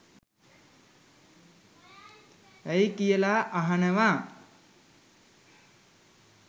ඇයි කියලා අහනවා.